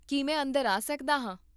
ਕੀ ਮੈ ਅੰਦਰ ਆ ਸਕਦਾ ਹਾਂ?